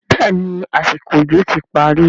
béèni àsìkò òjò ti parí.